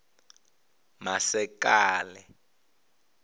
masekela